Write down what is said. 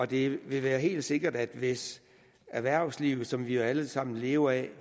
det er helt sikkert at hvis erhvervslivet som vi jo alle sammen lever af